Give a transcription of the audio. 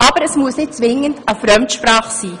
Aber es muss nicht zwingend eine Fremdsprache sein.